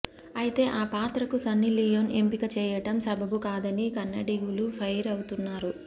అయితే ఆ పాత్రకు సన్నిలీయోన్ ఎంపిక చేయడం సబబు కాదని కన్నడిగులు ఫైర్ అవుతున్నారు